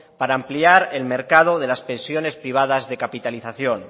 para ampliar el mercado de las pensiones privadas de capitalización